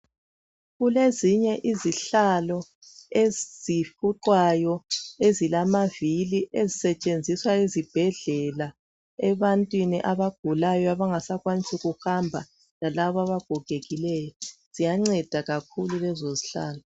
Kulezinye izihlalo ezifuqwayo, ezilamavili, ezisetshenziswa ezibhedlela. Ebantwini abagulayo, abangasakwanisi kuhamba. Lalabo abagogekileyo. Ziyanceda kakhulu lezozihlalo.